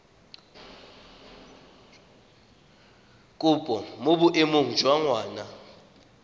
kopo mo boemong jwa ngwana